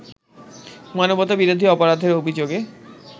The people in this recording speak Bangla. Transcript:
মানবতাবিরোধী অপরাধের অভিযোগে